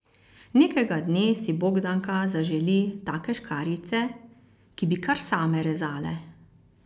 Nekega dne si Bogdanka zaželi take škarjice, ki bi kar same rezale.